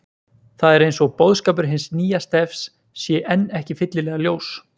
Það er eins og boðskapur hins nýja stefs sé enn ekki fyllilega ljós.